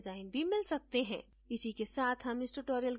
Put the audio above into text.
इसी के साथ हम इस tutorial के अंत में पहुँच गए हैं